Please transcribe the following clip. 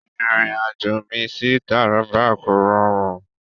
Ìrìn-àjò mi sí Taraba kò rọrùn.